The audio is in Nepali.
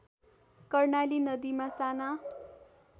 कर्णाली नदीमा साना